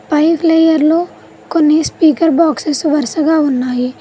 ఫై layer లో కొన్ని speaker boxes వరుసగా ఉన్నాయి.